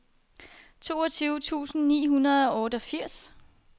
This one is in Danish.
toogtyve tusind ni hundrede og otteogfirs